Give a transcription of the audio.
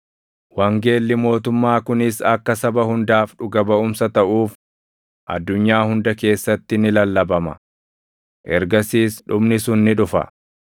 Wangeelli mootummaa kunis akka saba hundaaf dhuga baʼumsa taʼuuf addunyaa hunda keessatti ni lallabama; ergasiis dhumni sun ni dhufa.